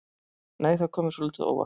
Nei! Það kom mér svolítið á óvart!